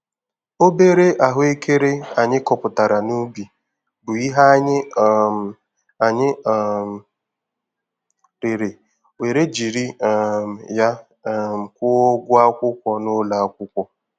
Obere ahụekere anyị kọpụtara n'ubi, bụ ihe anyị um anyị um rere wee jiri um ya um kwụọ ụgwọ akwụkwọ n'ụlọ akwụkwọ.